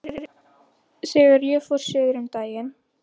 Þegar ég fór suður um daginn.